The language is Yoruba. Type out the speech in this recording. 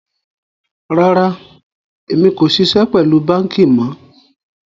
Rárá, ẹ̀mi kò ṣíṣẹ̀ pẹ̀lú bankí mọ̀.